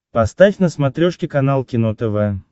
поставь на смотрешке канал кино тв